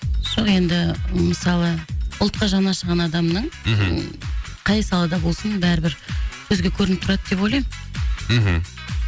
жоқ енді мысалы ұлтқа жан ашыған адамның мхм қай салада болсын бәрі бір көзге көрініп тұрады деп ойлаймын мхм